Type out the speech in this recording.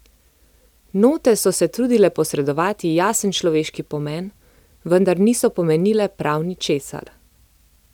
Note so se trudile posredovati jasen človeški pomen, vendar niso pomenile prav ničesar.